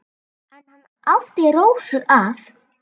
En hann átti Rósu að.